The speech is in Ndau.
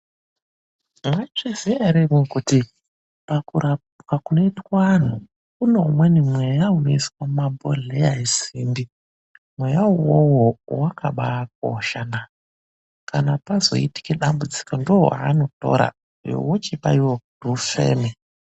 Mwaizviziya ere imwimwi kuti pakurapwa kunoitwa anthu, kune umweni mweya unoiswa mumabhodhleya esimbi. Mweya uwowo wakabaakoshana. Kana pazoite dambudziko ndiwo wevanotora iwo wochipa iwewe kuti ufeme.